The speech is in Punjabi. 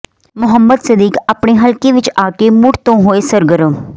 ਮੁਹੰਮਦ ਸਦੀਕ ਆਪਣੇ ਹਲਕੇ ਵਿਚ ਆ ਕੇ ਮੁੜ ਤੋਂ ਹੋਏ ਸਰਗਰਮ